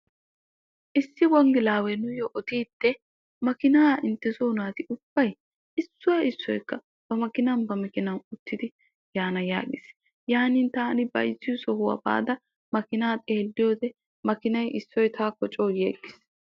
Issi wonggelaawee nuyyo odiidde "makiinaa intte soo naati ubbay issoy issoykka ba makinan ba makiinan uttidi yaana" yaagis. Yaanin taani bayzziyoo sohuwaa baada makiinaa xeelliyo wode makiinay issoy taakko coo yiyaaggis.